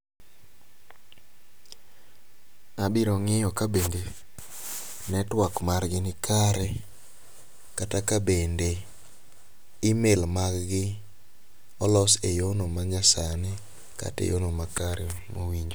Abiro ng'iyo ka bende network margi nikare kata ka bende email mag gi olos eyor no manyasani kata e yor no makare mowinjore.